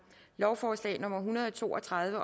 lovforslag nummer hundrede og to og tredive